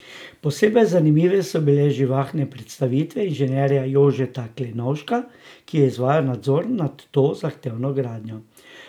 Posebej zanimive so bile živahne predstavitve inženirja Jožeta Klenovška, ki je izvajal nadzor nad to zahtevno gradnjo.